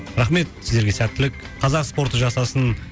рахмет сіздерге сәттілік қазақ спорты жасасын